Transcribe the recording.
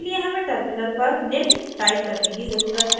इसके लिए हमें terminal पर निम्न type करने की ज़रुरत है: